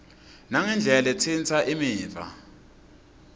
nangendlela letsintsa imiva